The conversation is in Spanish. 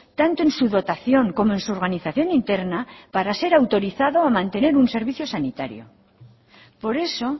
tanto en su dotación como en su organización interna para ser autorizado a mantener un servicio sanitario por eso